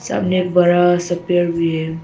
सामने बड़ा सा पेड़ भी है।